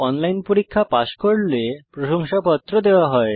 online পরীক্ষা pass করলে প্রশংসাপত্র দেওয়া হয়